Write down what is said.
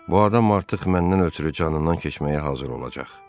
Bu adam artıq məndən ötrü canından keçməyə hazır olacaq.